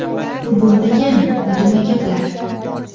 Bu bo‘lmagan, uydirma gaplar.